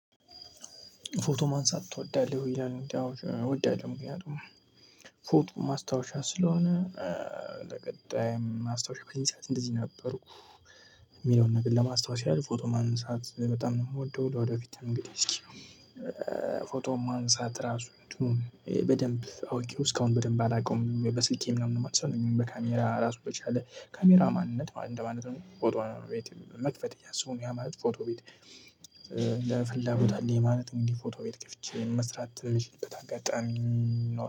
ፎቶ ማንሳት ትወዳለህ ወይ ይላል እንዴ? አዎ እወዳለሁ ምክንያቱም ፎቶ ማስታወሻ ስለሆነ ለቀጣይም ማስታወሻ በዚንሳት እንደዚ ነበርኩ የሚለውን ነገር ለማስታወስ ያህል ፎቶ ማንሳት በጣም ነው የምወደው። ለወደፊት እንግዲህ እስኪ። ፎቶ ማንሳት ራሱ እንትኑን በደንብ አውቄው እስካሁን በደንብ አላውቀውም በስልኬ ምናምን ነው ማነሳው በካሜራ ራሱ በቻለ ካሜራ ማንነት ማለት ነው ማለት ነው። ፎቶ ቤት መክፈት እያሰቡ ነው ያ ማለት ፎቶ ቤት። ለፍላጎታለኝ የማለት እንግዲህ ፎቶ ቤት ከፍቼ መስራት የምችልበት አጋጣሚ